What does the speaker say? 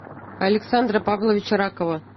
александра павловича ракова